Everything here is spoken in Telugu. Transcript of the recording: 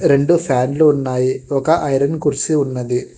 రెండు ఫ్యాన్ లు ఉన్నాయి ఒక ఐరన్ కుర్చీ ఉన్నది.